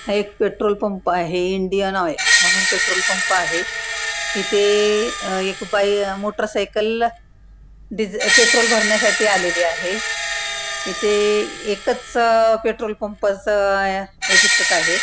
हा एक petrol pump आहे इंडियन ऑइल म्हणुन पेट्रोल पंप आहे इथे एक बाई मोटर सायकल पेट्रोल भरण्या साठी आलेली आहे इथे एकच पेट्रोल पंप च हे दिसत आहे.